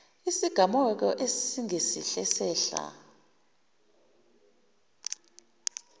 isigameko esingesihle esehla